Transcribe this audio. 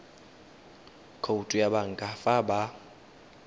khoutu ya banka fa ba